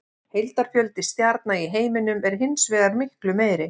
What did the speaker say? Heildarfjöldi stjarna í heiminum er hins vegar miklu meiri.